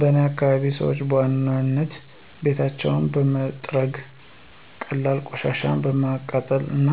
በእኔ አካባቢ ሰዎች በዋናነት ቤታቸውን በመጥረግ፣ ቀላል ቆሻሻ በማቃጠል እና